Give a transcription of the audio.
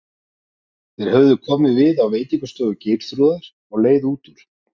Þeir höfðu komið við á veitingastofu Geirþrúðar á leið út úr